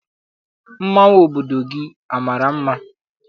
Mmanwụ obodo gị amara mma?